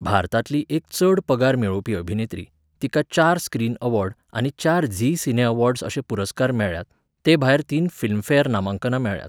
भारतांतली एक चड पगार मेळोवपी अभिनेत्री, तिका चार स्क्रीन ऍवॉर्ड आनी चार झी सिने ऍवॉर्ड्स अशे पुरस्कार मेळ्ळ्यात, ते भायर तीन फिल्मफॅर नामांकनां मेळ्ळ्यांत.